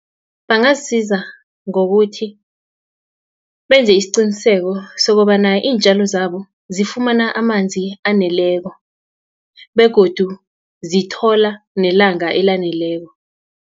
Bangazisiza ngokuthi, benze isiqiniseko sokobana iintjalo zabo, zifumana amanzi aneleko, begodu zithola nelanga elaneleko.